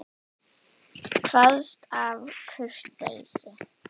Kvaðst af kurteisi.